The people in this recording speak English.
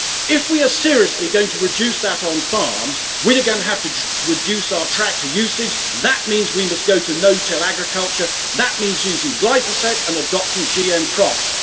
If we are seriously going to reduce that on farms, we're going to have to reduce our tractor usage and that means we must go to no till agriculture, which means using glyphosate and adopting GM crops.